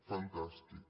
fantàstic